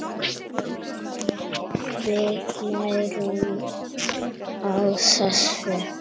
Við nærumst á þessu.